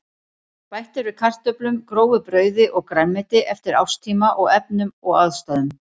Bætt er við kartöflum, grófu brauði og grænmeti eftir árstíma og efnum og ástæðum.